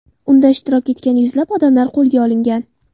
Unda ishtirok etgan yuzlab odamlar qo‘lga olingan.